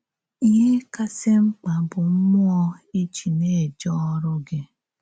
Íhè kàsị̀ mmkpa bụ̀ mmúọ̀ ị jì na-èjé òrụ̀ gị.